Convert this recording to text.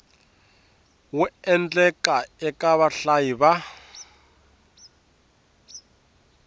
wu endlaka eka vahlayi va